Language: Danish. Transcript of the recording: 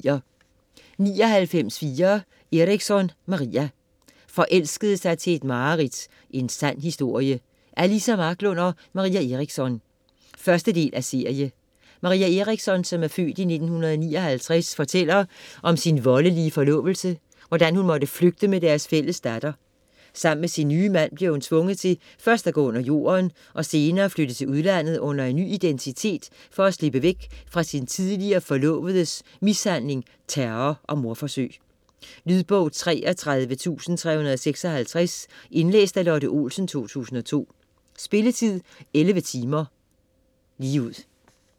99.4 Eriksson, Maria Forelskede sig til et mareridt: en sand historie Af Liza Marklund og Maria Eriksson. 1. del af serie. Maria Eriksson (f. 1959) fortæller om sin voldelige forlovelse, hvordan hun måtte flygte med deres fælles datter. Sammen med sin nye mand bliver hun tvunget til først at gå under jorden og senere flytte til udlandet under ny identitet for at slippe væk fra sin tidligere forlovedes mishandling, terror og mordforsøg. Lydbog 33356 Indlæst af Lotte Olsen, 2002. Spilletid: 11 timer, 0 minutter.